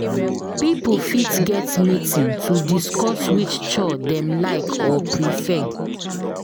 Pipo fit get meeting to discuss which chore dem like or prefer